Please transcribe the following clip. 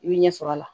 I bɛ ɲɛsɔrɔ a la